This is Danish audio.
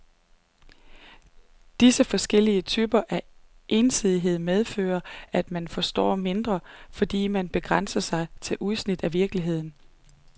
Disse forskellige typer af ensidighed medfører, at man forstår mindre, fordi man begrænser sig til udsnit af virkeligheden.